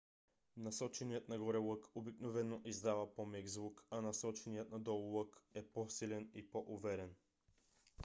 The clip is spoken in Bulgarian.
насоченият нагоре лък обикновено издава по-мек звук a насоченият надолу лък е по-силен и по-уверен